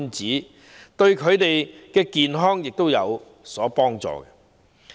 這樣對他們的健康有好處。